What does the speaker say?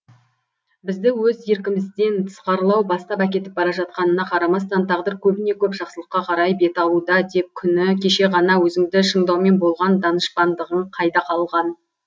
бізді өз еркімізден тысқарылау бастап әкетіп бара жатқанына қарамастан тағдыр көбіне көп жақсылыққа қарай бет алуда деп күні кеше ғана өзіңді шыңдаумен болған данышпандығың қайда қалған